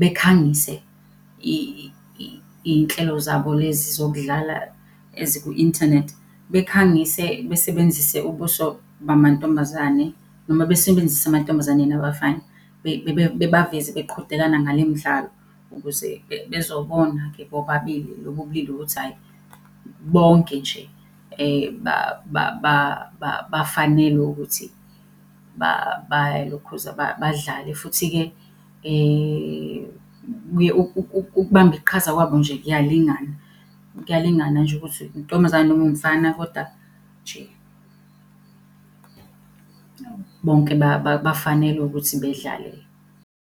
bekhangise iy'nhlelo zabo lezi zokudlala eziku-inthanethi. Bekhangise besebenzise ubuso bamantombazane noma besebenzise amantombazana nabafana bebaveze beqhudelana ngale mdlalo, ukuze bezobona-ke bobabili lobu bulili ukuthi hhayi bonke nje bafanelwe ukuthi balokhuza, badlale. Futhi-ke ukubamba iqhaza kwabo nje kuyalingana. Kuyalingana nje ukuthi intombazane noma umfana koda nje, bonke bafanelwe ukuthi bedlale